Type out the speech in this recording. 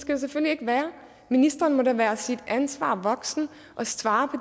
det selvfølgelig ikke være ministeren må da være sit ansvar voksent og svare på